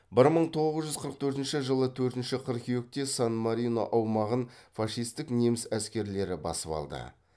бір мың тоғыз жүз қырық төртінші жылы төртінші қыркүйекте сан марино аумағын фашистік неміс әскерлерлері басып алды